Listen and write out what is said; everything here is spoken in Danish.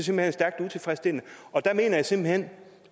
hen er stærkt utilfredsstillende og der mener jeg simpelt hen